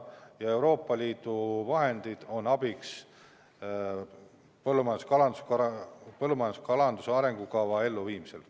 Ja Euroopa Liidu vahendid on abiks põllumajanduse ja kalanduse arengukava elluviimisel.